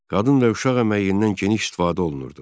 Qadın və uşaq əməyindən geniş istifadə olunurdu.